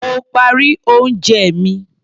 Mo parí oúnjẹ mi.